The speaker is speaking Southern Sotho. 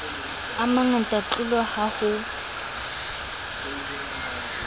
a mangata tlolo ha ho